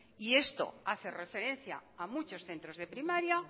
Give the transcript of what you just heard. y esto hace referencia a muchos centros de primaria